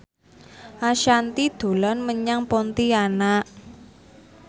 Ashanti dolan menyang Pontianak